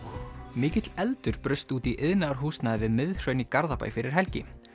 mikill eldur braust út í iðnaðarhúsnæði við Miðhraun í Garðabæ fyrir helgi